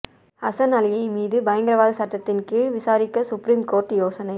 ஹசன் அலியை மீது பயங்கரவாத சட்டத்தின் கீழ் விசாரிக்க சுப்ரீம் கோர்ட் யோசனை